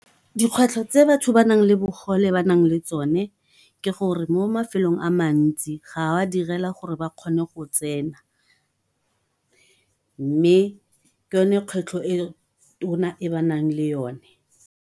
Dikgwetlho tse batho ba bogole ba na leng tsone ke gore mo mafelong a le mantsi ga ba direla gore ba kgone go tsena, mme ke yone kgwetlho e tona e ba na leng yone.